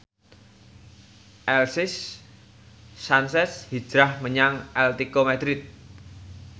Alexis Sanchez hijrah menyang Atletico Madrid